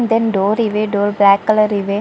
Than door ಇವೆ door black colour ಇವೆ.